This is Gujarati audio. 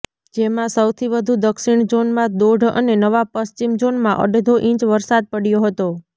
જેમાં સૌથી વધુ દક્ષિણ ઝોનમાં દોઢ અને નવા પશ્ચિમ ઝોનમાં અડધો ઈંચ વરસાદ પડયો હતો